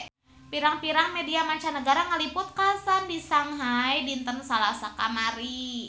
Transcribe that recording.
Pirang-pirang media mancanagara ngaliput kakhasan di Shanghai dinten Salasa kamari